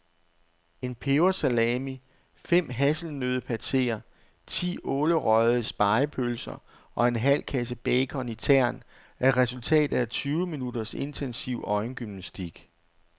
En pebersalami, fem hasselnøddepateer, ti ålerøgede spegepølser og en halv kasse bacon i tern er resultatet af tyve minutters intensiv øjengymnastik.